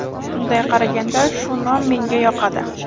Bunday qaraganda, shu nom menga yoqadi.